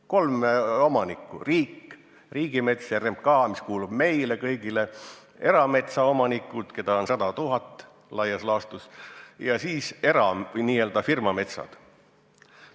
Kolm omanikku: riik, riigimets ja RMK, mis kuulub meile kõigile, erametsaomanikud, keda on 100 000 laias laastus, ja siis n-ö firmametsad.